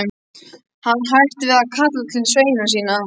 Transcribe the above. Hann hætti við að kalla til sveina sína.